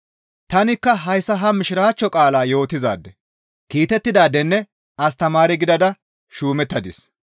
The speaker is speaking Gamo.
Tanikka hayssa ha mishiraachcho qaalaa yootizaade, kiitettidaadenne astamaare gidada shuumettadis.